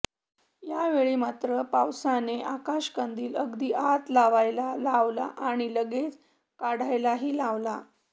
यावेळी मात्र पावसाने आकाश कंदिल अगदी आत लावयला लावला आणि लगेच काढायलाही लावला